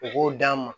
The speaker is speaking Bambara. U k'o d'an ma